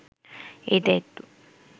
এই দায়িত্ব